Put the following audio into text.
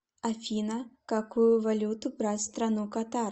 афина какую валюту брать в страну катар